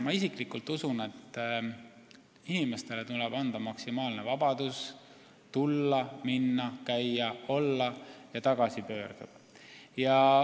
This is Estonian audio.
Ma isiklikult usun, et inimestele tuleb anda maksimaalne vabadus tulla, minna, käia, olla ja tagasi pöörduda.